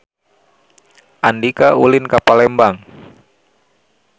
Andika ulin ka Palembang